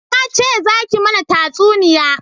Na ce za ki mana tatsuniya